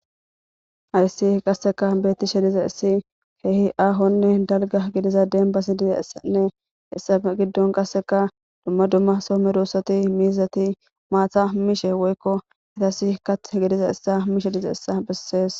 Ayssi qasseka beetti shediza issi keehi aahonne dalga gidiza dembasi diza issanne essa giddon qasseka dumma dumma soome russati miizati maatha mishe woykko itasi kat gidiza issa mishe diza issa bessees.